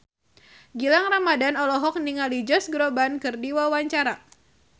Gilang Ramadan olohok ningali Josh Groban keur diwawancara